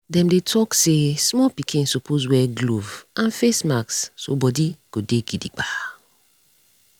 dem dey talk say small pikin suppose wear glove and face mask so body go dey gidigba.